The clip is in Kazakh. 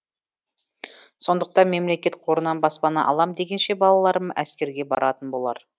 сондықтан мемлекет қорынан баспана алам дегенше балаларым әскерге баратын болар